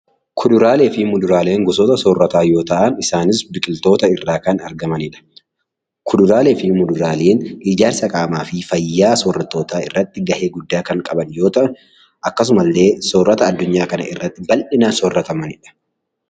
Kuduraalee fi Muduraaleen gosoota soorrataa yoo ta’an, isaanis biqiltoota irraa kan argamanidha. Kuduraalee fi Muduraaleen ijaarsa qaamaa soorrattootaa irratti gahee guddaa kan qaban yoo ta’an, akkasuma illee soorata addunyaa kana irratti baldhinaan soorratamanidha.